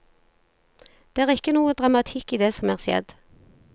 Det er ikke noe dramatikk i det som er skjedd.